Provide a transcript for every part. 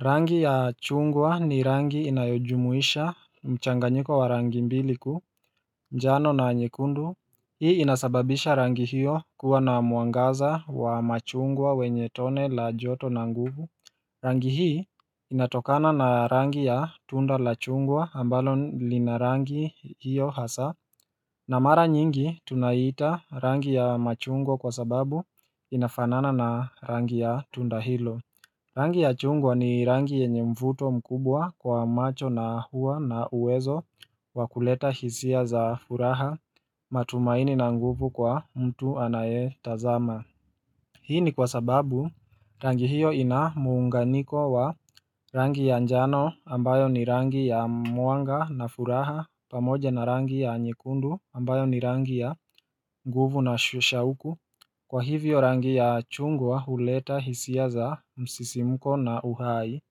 Rangi ya chungwa ni rangi inayojumuisha mchanganyiko wa rangi mbili kuu, njano na nyekundu Hii inasababisha rangi hiyo kuwa na mwangaza wa machungwa wenye tone la joto na nguvu Rangi hii inatokana na rangi ya tunda la chungwa ambalo lina rangi hiyo hasaa na mara nyingi tunaita rangi ya machungwa kwa sababu inafanana na rangi ya tunda hilo Rangi ya chungwa ni rangi yenye mvuto mkubwa kwa macho na huwa na uwezo wa kuleta hisia za furaha matumaini na nguvu kwa mtu anayetazama Hii ni kwa sababu rangi hiyo ina muunganiko wa rangi ya njano ambayo ni rangi ya mwanga na furaha pamoja na rangi ya nyekundu ambayo ni rangi ya nguvu na shauku Kwa hivyo rangi ya chungwa huleta hisia za msisimuko na uhai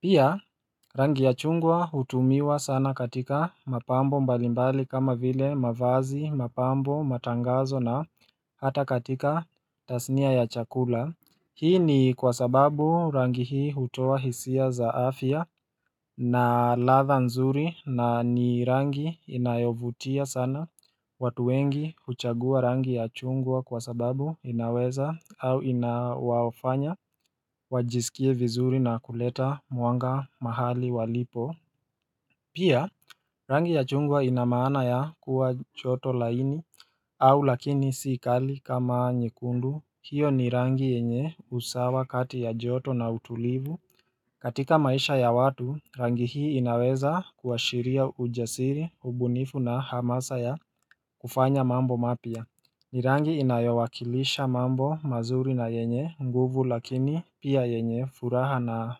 Pia rangi ya chungwa hutumiwa sana katika mapambo mbalimbali kama vile mavazi, mapambo, matangazo na hata katika tasnia ya chakula Hii ni kwa sababu rangi hii hutoa hisia za afya na ladha nzuri na ni rangi inayovutia sana watu wengi huchagua rangi ya chungwa kwa sababu inaweza au inawafanya wajisikie vizuri na kuleta mwanga mahali walipo Pia rangi ya chungwa ina maana ya kuwa joto laini au lakini si kali kama nyekundu. Hiyo ni rangi yenye usawa kati ya joto na utulivu. Katika maisha ya watu, rangi hii inaweza kuashiria ujasiri, ubunifu na hamasa ya kufanya mambo mapya ni rangi inayowakilisha mambo mazuri na yenye nguvu lakini pia yenye furaha na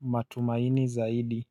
matumaini zaidi.